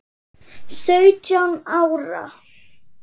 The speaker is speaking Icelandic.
Sautján ára.